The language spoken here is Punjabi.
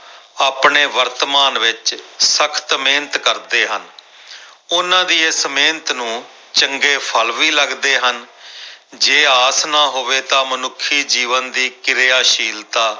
ਆਪਣੇ ਵਰਤਮਾਨ ਵਿੱਚ ਸਖ਼ਤ ਮਿਹਨਤ ਕਰਦੇ ਹਨ ਉਹਨਾਂ ਦੀ ਇਸ ਮਿਹਨਤ ਨੂੂੰ ਚੰਗੇ ਫ਼ਲ ਵੀ ਲੱਗਦੇ ਹਨ ਜੇ ਆਸ ਨਾ ਹੋਵੇ ਤਾਂ ਮਨੁੱਖੀ ਜੀਵਨ ਦੀ ਕਿਰਿਆਸ਼ੀਲਤਾ